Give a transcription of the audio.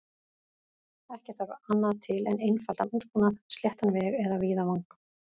Ekki þarf annað til en einfaldan útbúnað, sléttan veg eða víðavang.